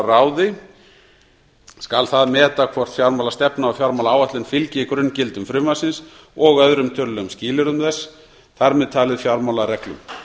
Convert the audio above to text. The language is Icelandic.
fjármálaráði skal það meta hvort fjármálastefna og fjármálaáætlun fylgi grunngildum frumvarpsins og öðrum tölulegum skilyrðum þess þar með talið fjármálareglum